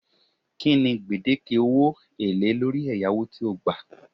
Kinni gbedeke owo ele lori eyawo to gba